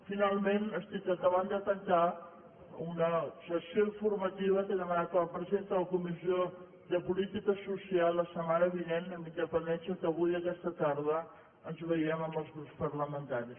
finalment estic acabant de tancar una sessió informativa que he demanat a la presidenta de la comissió de política social la setmana vinent amb independència que avui aquesta tarda ens vegem amb els grups parlamentaris